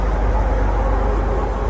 Əşhədü ən la ilahə illallah.